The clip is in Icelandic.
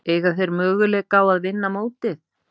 Eiga þeir möguleika á að vinna mótið?